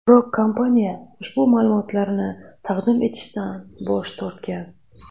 Biroq kompaniya ushbu ma’lumotlarni taqdim etishdan bosh tortgan.